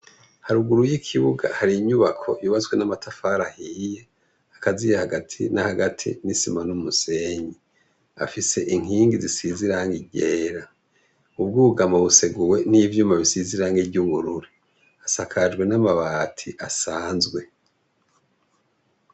Haruguru y'ikibuga hari inyubako yubazwe n'amatafara ahiye akaziya hagati na hagati n'isima n'umusenyi afise inkingi zisiziranga igera ubwo ugama buseguwe n'ivyuma bisiziranga iryungururi asakajwe n'amabati asanzwe.